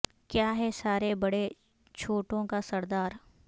کیا ہے سارے بڑے چھوٹوں کا سردار